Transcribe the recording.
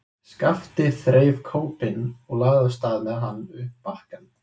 Skapti þreif kópinn og lagði af stað með hann upp bakkann.